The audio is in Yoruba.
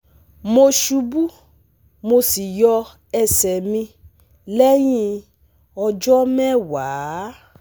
Mo ṣubu mo sì yọ ẹsẹ̀ mi lẹ́yìn ọjọ́ mẹ́wàá